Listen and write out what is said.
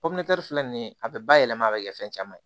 popiɲɛri filɛ nin ye a bɛ bayɛlɛma a bɛ kɛ fɛn caman ye